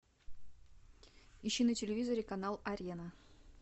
ищи на телевизоре канал арена